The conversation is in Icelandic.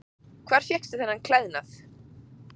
Hvar fékkstu þennan klæðnað?